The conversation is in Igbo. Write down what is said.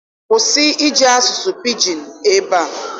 Kwụsị iji asụsụ Pidgin ebe a!